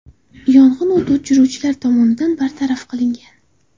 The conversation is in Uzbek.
Yong‘in o‘t o‘chiruvchilar tomonidan bartaraf qilingan.